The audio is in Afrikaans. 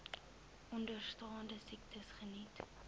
onderstaande siektes geniet